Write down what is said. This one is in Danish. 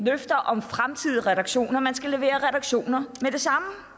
løfter om fremtidige reduktioner man skal levere reduktioner med det samme